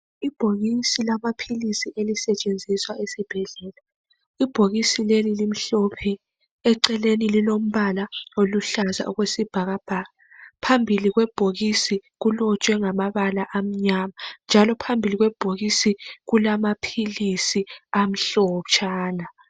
Ibhokisi lamaphilisi elisetshenziswa esibhedlela . Ibhokisi leli limhlophe eceleni lilombala oluhlaza okwesibhakabhaka .Phambili kwebhokisi kulotshwe ngamabala amnyama .Njalo phambili kwebhokisi kulamaphilisi amhlotshana .